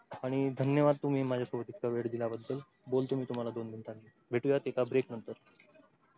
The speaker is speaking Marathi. आणि धन्यवाद तुम्ही माझ्या सोबत इतका वेळ दिल्या बद्दल बोलतो मी तुम्हाला दोन minute नी भेटूया एका break नंतर.